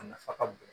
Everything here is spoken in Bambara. A nafa ka bon